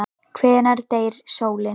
Hvenær deyr sólin?